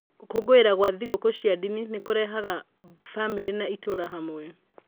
Gũkũngũĩra gwa thingũkũũ cia ndini nĩ kũrehaga bamĩrĩ na itũra hamwe.